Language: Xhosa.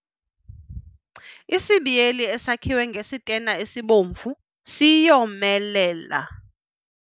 Isibiyeli esakhiwe ngesitena esibomvu siyomelela.